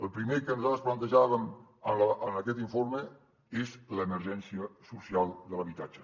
el primer que nosaltres plantejàvem en aquest informe és l’emergència social de l’habitatge